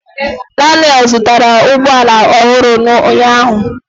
Daniel zụtara ụgbọ ala ọhụrụ ụnyaahụ.